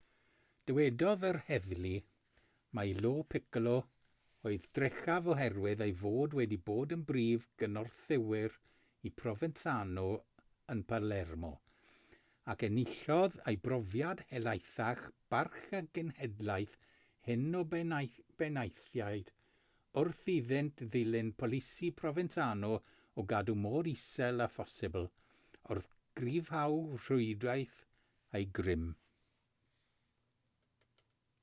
dywedodd yr heddlu mai lo piccolo oedd drechaf oherwydd ei fod wedi bod yn brif gynorthwywr i provenzano yn palermo ac enillodd ei brofiad helaethach barch y genhedlaeth hŷn o benaethiaid wrth iddynt ddilyn polisi provenzano o gadw mor isel â phosibl wrth gryfhau rhwydwaith eu grym